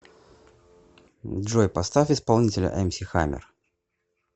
джой поставь исполнителя эмси хаммер